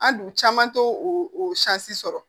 An dun caman t'o o sɔrɔ